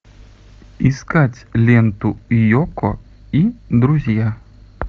искать ленту йоко и друзья